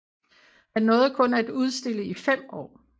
Han nåede kun at udstille i fem år